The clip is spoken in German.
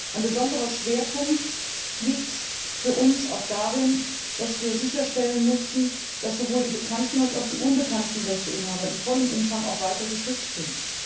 Ein besonderer Schwerpunkt liegt für uns auch darin, dass wir sicherstellen mussten, dass sowohl die bekannten als auch die unbekannten Rechteinhaber in vollem Umfang weiter geschützt sind.